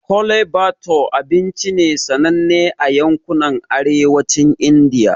Chole bhature abinci ne sananne a yankunan Arewacin Indiya.